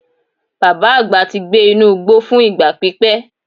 Baba agba ti gbe inu igbo fun igba pipẹ.